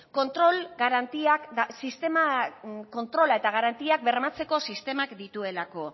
kontrola eta garantiak bermatzeko sistemak dituelako